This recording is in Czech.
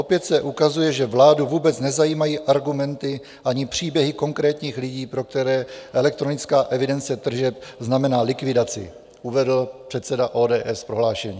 Opět se ukazuje, že vládu vůbec nezajímají argumenty ani příběhy konkrétních lidí, pro které elektronická evidence tržeb znamená likvidaci," uvedl předseda ODS v prohlášení.